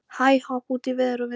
Hæ-hopp út í veður og vind.